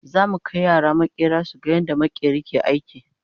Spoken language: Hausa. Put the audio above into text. zamu Kai yara maƙera suga yadda maƙeri ke aiki